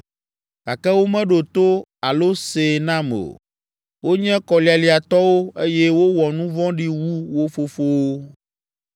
Gake womeɖo to alo see nam o. Wonye kɔlialiatɔwo, eye wowɔ nu vɔ̃ɖi wu wo fofowo.’